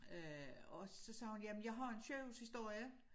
Øh og så sagde hun jamen jeg har en sygehushistorie